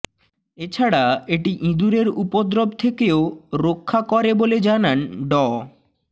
এছাড়া এটি ইদুরের উপদ্রব থেকেও রক্ষা করে বলে জানান ড